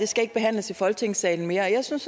skal behandles i folketingssalen mere jeg synes